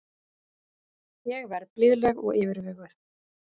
Ég verð blíðleg og yfirveguð.